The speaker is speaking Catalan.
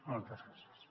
moltes gràcies